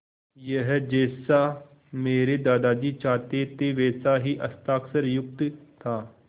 यह जैसा मेरे दादाजी चाहते थे वैसा ही हस्ताक्षरयुक्त था